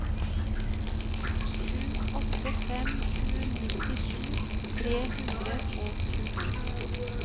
sju åtte fem sju nittisju tre hundre og tjueto